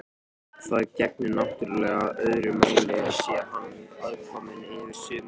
Það gegnir náttúrlega öðru máli sé hann aðkominn yfir sumarið.